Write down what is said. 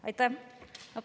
Aitäh!